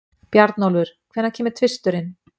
Bjarnólfur, hvenær kemur tvisturinn?